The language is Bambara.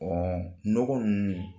Ɔ n nɔgɔ ninnu